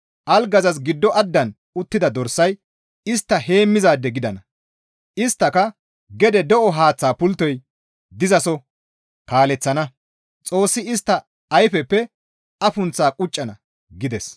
Algazas giddo addan uttida dorsay istta heemmizaade gidana; isttaka gede de7o haaththa pulttoy dizaso kaaleththana; Xoossi istta ayfeppe afunththaa quccana» gides.